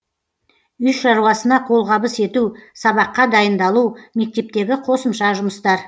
үй шаруасына қолғабыс ету сабаққа дайындалу мектептегі қосымша жұмыстар